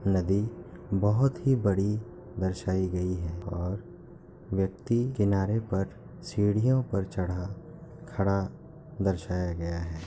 नदी बहुत ही बड़ी दर्शाई गई है और व्यक्ति किनारे पर सीढ़ियों पर चढ़ा खड़ा दर्शाया गया है।